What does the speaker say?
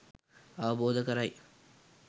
අවබෝධ කරයි.